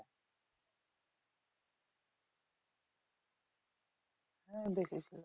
হ্যাঁ দেখেছি।